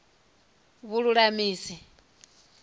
vhululamisi